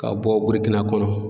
Ka bɔ Burukina kɔnɔ